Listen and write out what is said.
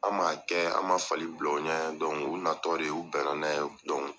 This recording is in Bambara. An m'a kɛ an ma fali bila u ɲɛ u natɔ de u bɛnna n'a ye